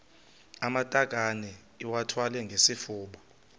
amatakane iwathwale ngesifuba